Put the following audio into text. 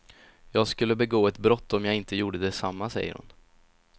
Jag skulle begå ett brott om jag inte gjorde detsamma, säger hon.